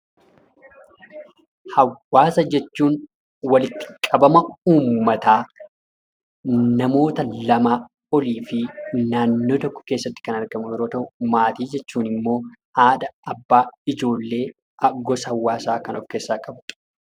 Hawwaasa jechuun walitti qabama ummataa ,namoota lamaa olii fi naannoo tokko keessatti kan argamu yeroo ta'u, maatii jechuun immoo haadha, abbaa, ijoollee, gosa hawaasaa kan of keessaa qabu dha.